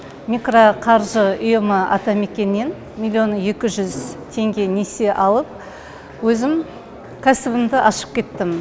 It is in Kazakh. микроқаржы ұйымы атамекен нен миллион екі жүз теңге несие алып өзім кәсібімді ашып кеттім